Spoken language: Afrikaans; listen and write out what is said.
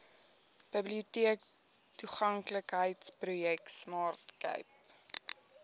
biblioteektoeganklikheidsprojek smart cape